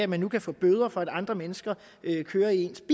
man kan få bøder for at andre mennesker kører i ens